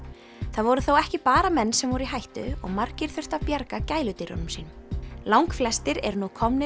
það voru þó ekki bara menn sem voru í hættu og margir þurftu að bjarga gæludýrunum sínum langflestir eru nú komnir